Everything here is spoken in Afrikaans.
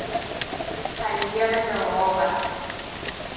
sy lewende hawe